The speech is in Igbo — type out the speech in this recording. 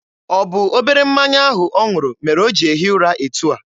Ọ bụ obere mmanya ahụ ọ ṅụrụ mere o ji ehi ụra etu a?